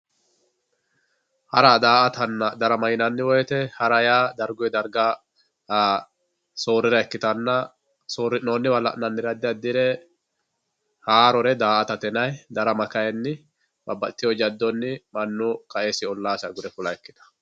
hara daa'atanna darama yinanni woyte hara yaa darguyi darga soorira ikkitanna soorri'noonnire la'nannire addi addire haarore daa'atate yinayi darama kayinni babbaxxitewo jaddonni qaesi ollaasi agure fula ikkitawo